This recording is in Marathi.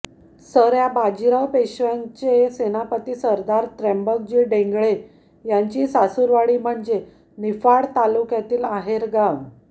सऱ्या बाजीराव पेशव्यांचे सेनापती सरदार त्र्यंबकजी डेंगळे यांची सासूरवाडी म्हणजे निफाड तालुक्यातील आहेरगाव